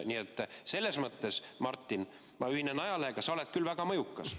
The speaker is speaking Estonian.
Nii et selles mõttes, Martin, ma ühinen ajalehega, sa oled küll väga mõjukas.